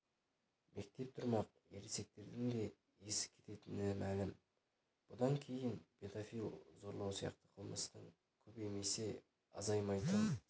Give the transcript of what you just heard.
мектеп тұрмақ ересектердің де есі кететіні млім бұдан кейін педофил зорлау сияқты қылмыстың көбеймесе азаймайтын